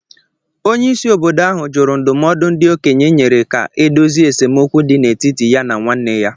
Onyeisi obodo ahụ jụrụ ndụmọdụ ndị okenye nyere ka e dozie esemokwu dị n’etiti ya na nwanne ya